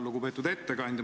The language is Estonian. Lugupeetud ettekandja!